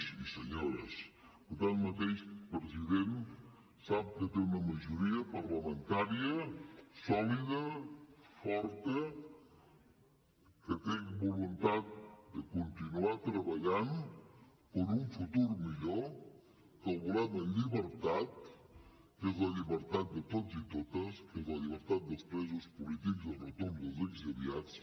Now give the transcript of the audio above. i senyores president sap que té una majoria parlamentària sòlida forta que té voluntat de continuar treballant per un futur millor que el volem en llibertat que és la llibertat de tots i totes que és la llibertat dels presos polítics i el retorn dels exiliats